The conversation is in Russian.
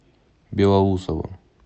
белоусово